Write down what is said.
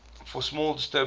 for small disturbances